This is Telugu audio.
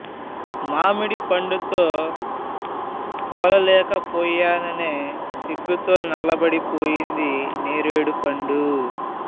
మామిడి పండుతో పోలలేకపోయాననే అనే సిగ్గుతో నల్లబడి పోయింది నేరేడుపండు